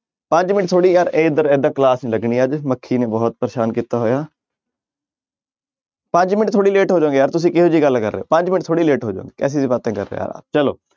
ਪੰਜ ਮਿੰਟ ਥੋੜ੍ਹੀ ਯਾਰ ਏਦਾਂ class ਨੀ ਲੱਗਣੀ ਮੱਖੀ ਨੇ ਬਹੁਤ ਪਰੇਸਾਨ ਕੀਤਾ ਹੋਇਆ ਪੰਜ ਮਿੰਟ ਥੋੜ੍ਹੀ late ਹੋ ਜਾਓਗੇ ਯਾਰ ਤੁਸੀਂ ਕਿਹੋ ਜਿਹੀ ਗੱਲ ਕਰ ਰਹੇ ਹਹੋ ਪੰਜ ਮਿੰਟ ਥੋੜ੍ਹੀ late ਹੋ ਜਾਓਗੇ ਕੈਸੀ ਬਾਤੇਂ ਕਰ ਰਹੇ ਆ ਚਲੋ,